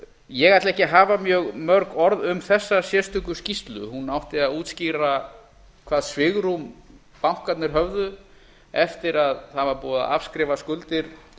ég ætla ekki að hafa mjög mörg orð um þessa sérstöku skýrslu hún átti að útskýra hvað svigrúm bankarnir höfðu eftir að það var búið að afskrifa skuldir